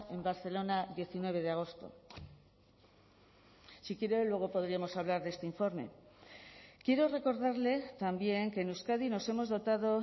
en barcelona diecinueve de agosto si quiere luego podríamos hablar de este informe quiero recordarle también que en euskadi nos hemos dotado